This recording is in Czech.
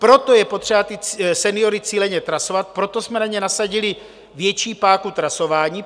Proto je potřeba ty seniory cíleně trasovat, proto jsme na ně nasadili větší páku trasování.